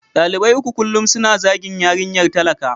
Dalibai uku kullum suna zagin yarinyar talaka.